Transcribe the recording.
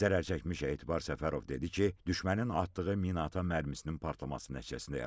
Zərərçəkmiş Etibar Səfərov dedi ki, düşmənin atdığı minaatan mərmisinin partlaması nəticəsində yaralanıb.